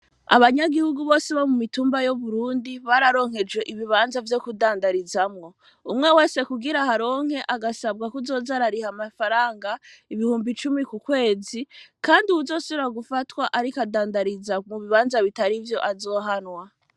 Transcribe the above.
Abanyagihugu bose bo mu mitumba yo burundi bararonkeje ibibanza vyo kudandarizamwo umwe we se kugira haronke agasabwa kuzozarariha amafaranga ibihumbi cumi ku kwezi, kandi uwuzosura gufatwa, ariko adandariza mu bibanza bitari vyo azohanwa.